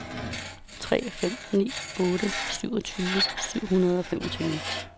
tre fem ni otte syvogtyve syv hundrede og femogtyve